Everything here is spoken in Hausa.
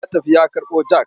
Ya tafi ya karɓo jak.